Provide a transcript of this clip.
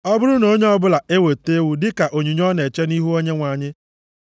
“ ‘Ọ bụrụ na onye ọbụla eweta ewu dịka onyinye ọ na-eche nʼihu Onyenwe anyị,